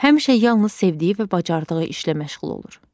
Həmişə yalnız sevdiyi və bacardığı işlə məşğul olur.